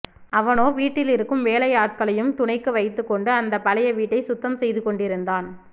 அவனோ வீட்டில் இருக்கும் வேலையாட்களையும் துணைக்கு வைத்துக் கொண்டு அந்த பழைய வீட்டை சுத்தம் செய்துக் கொண்டிருந்தான்